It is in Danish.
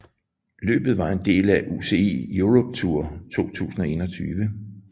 Løbet var en del af UCI Europe Tour 2021